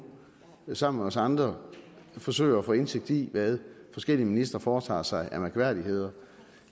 sammen med os andre forsøger at få indsigt i hvad forskellige ministre foretager sig af mærkværdigheder